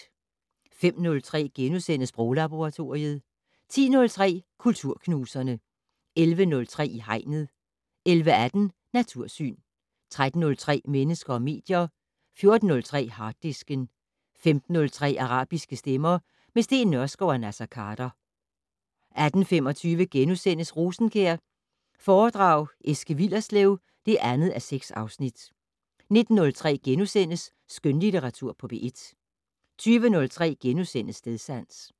05:03: Sproglaboratoriet * 10:03: Kulturknuserne 11:03: I Hegnet 11:18: Natursyn 13:03: Mennesker og medier 14:03: Harddisken 15:03: Arabiske stemmer - med Steen Nørskov og Naser Khader 18:25: Rosenkjær foredrag Eske Willerslev (2:6)* 19:03: Skønlitteratur på P1 * 20:03: Stedsans *